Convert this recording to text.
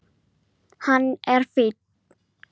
Hún kom strax fram.